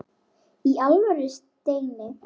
Í alvöru, Steini.